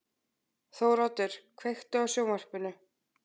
Þóroddur, kveiktu á sjónvarpinu.